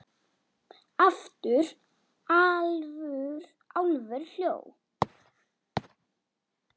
Álfur hló.